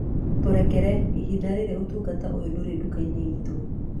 Tũrekere, ihinda rĩrĩ ũtungata ũyũ ndũrĩ nduka-inĩ itũ